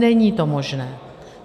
Není to možné.